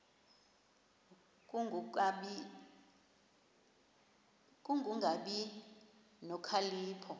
ku kungabi nokhalipho